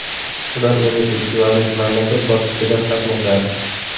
Ular endi festivalning mamlakat bosqichida qatnashadi.